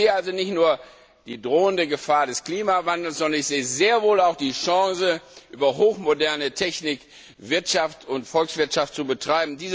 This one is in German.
Ich sehe also nicht nur die drohende Gefahr des Klimawandels, sondern ich sehe sehr wohl auch die Chance, über hochmoderne Technik die Wirtschaft und die Volkswirtschaft voranzubringen.